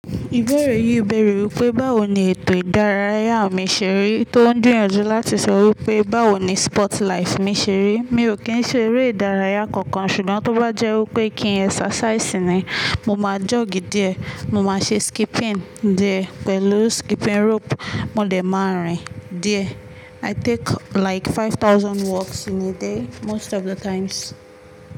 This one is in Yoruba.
Ìbéèrè yìí bèèrè wípé báwo ni ètò ìdárayá mi ṣe rí, tó ń gbìyànjú láti sọ wípé báwo ni sport life mi ṣe rí. Mi ò kí ń ṣe eré ìdárayá kankan, ṣùgbọ́n tó bá jẹ́ wípé kí ń exercise ni, mo máa jogi díẹ̀, mo máa ṣe skipping díẹ̀ pẹ̀lú skipping rope mo dé máa rìn díẹ̀. I take like five thousand walks in a day most of the times.